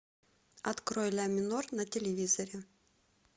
открой ля минор на телевизоре